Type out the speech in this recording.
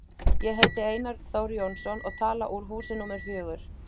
Ég heiti Einar Þór Jónsson og tala úr húsi númer fjögur.